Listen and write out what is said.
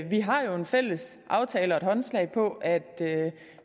vi har jo en fælles aftale og et håndslag på at